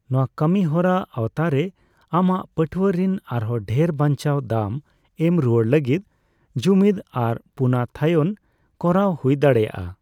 ᱱᱚᱣᱟ ᱠᱟᱹᱢᱤ ᱦᱚᱨᱟ ᱟᱣᱛᱟᱨᱮ ᱟᱢᱟᱜ ᱯᱟᱹᱴᱷᱣᱟᱹ ᱨᱤᱱ ᱟᱨᱦᱚᱹ ᱰᱷᱮᱨ ᱵᱟᱱᱪᱟᱣ ᱫᱟᱢ ᱮᱢ ᱨᱩᱭᱟᱹᱲ ᱞᱟᱹᱜᱤᱫ ᱡᱩᱢᱤᱫ ᱟᱨ ᱯᱩᱱᱚᱛᱷᱟᱭᱚᱱ ᱠᱚᱨᱟᱣ ᱦᱩᱭ ᱫᱟᱲᱮᱭᱟᱜᱼᱟ ᱾